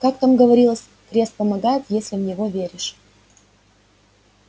как там говорилось крест помогает если в него веришь